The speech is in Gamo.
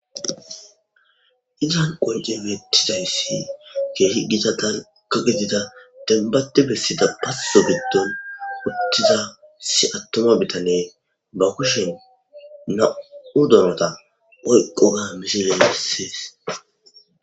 idan qonce weettidayssi keehi gita tanka gedida denbate bessida passo giddon wuttida si attoma bitane ba kushen na7u donota oyqo ga misile bessees